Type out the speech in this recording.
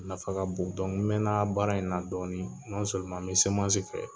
Nafa ka bon dɔnku n mɛnna baara in na dɔɔni nɔnseleman n be seman si kɛ